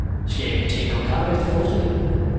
Skal vi tage en kop kaffe efter forestillingen?